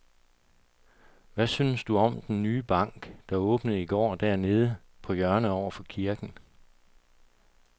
Hvad synes du om den nye bank, der åbnede i går dernede på hjørnet over for kirken?